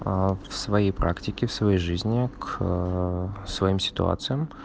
а в своей практике в своей жизни к своим ситуациям